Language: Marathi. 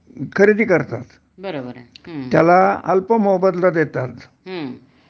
खरेदी करतात त्याला अल्प मोबदला देतात